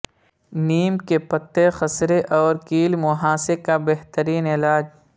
نیم کے پتے خسرے اور کیل مہاسے کا بہترین علاج